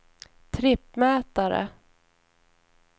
trippmätare